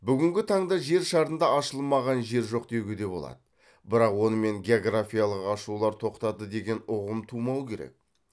бүгінгі таңда жер шарында ашылмаған жер жоқ деуге де болады бірақ онымен географиялық ашулар тоқтады деген ұғым тумау керек